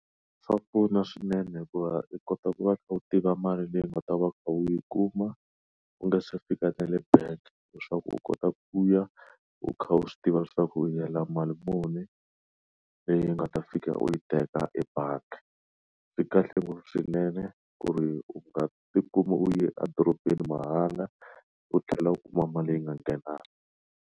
Swa pfuna swinene hikuva u kota ku va u kha u tiva mali leyi u ta va u kha u yi kuma u nga se fika nale bank leswaku u kota ku ya u kha u swi tiva leswaku u yela mali muni leyi nga ta fika u yi teka ebangi swikahle ngopfu swinene ku ri u nga tikuma u yi edorobeni mahala u tlhela u kuma mali leyi I nga nghenanga.